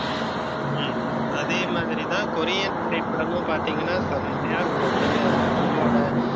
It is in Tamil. உம் அதே மாதிரி தான் கொரியன் திரைப்படமும் பார்த்தீங்கன்னா செம்மையா இருக்கும் அவங்களோட